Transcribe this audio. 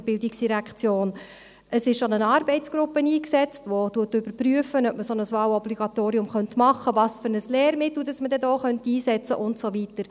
Es wurde schon eine Arbeitsgruppe eingesetzt, die überprüft, ob man ein Wahlobligatorium machen könnte, welches Lehrmittel man dann einsetzen könnte und so weiter.